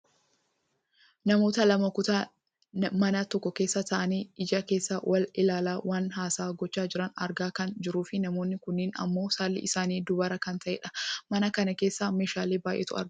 namoota lama kutaa mana tokkoo keessa taa'anii ija keessa wal ilaalaa waliin haasaa gochaa jiran argaa kan jirruufi namooni kunneen ammoo saalli isaanii dubara kan ta'anidha. mana kana keessa meeshaalee baayyeetu argama.